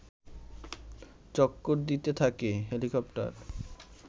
চক্কর দিতে থাকে হেলিকপ্টার